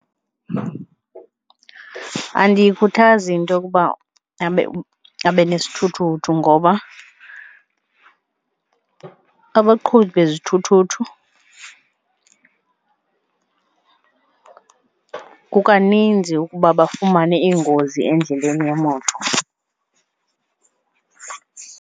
Andiyikhuthazi into yokuba abe nesithuthuthu ngoba abaqhubi bezithuthuthu kukaninzi ukuba bafumane ingozi endleleni yemoto.